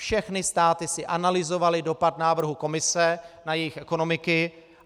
Všechny státy si analyzovaly dopad návrhu Komise na jejich ekonomiky.